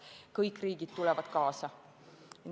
Kas kõik riigid tulevad kaasa?